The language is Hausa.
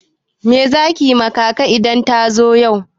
Me za ki yi ma kaka idan ta zo?